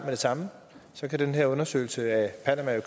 det samme og så kan den her undersøgelse af